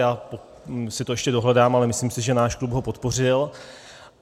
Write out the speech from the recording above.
Já si to ještě dohledám, ale myslím si, že náš klub ho podpořil.